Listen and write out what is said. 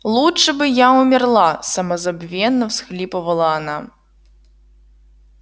лучше бы я умерла самозабвенно всхлипывала она